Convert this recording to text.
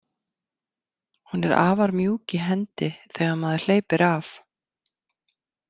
Hún er afar mjúk í hendi þegar maður hleypir af.